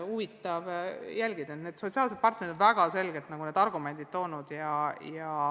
Nii et sotsiaalsed partnerid on väga selgelt oma argumendid esitanud.